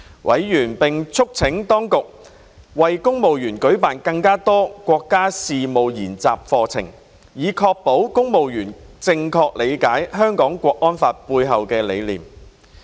委員並促請當局為公務員舉辦更多國家事務研習課程，以確保公務員正確理解《香港國安法》背後的概念。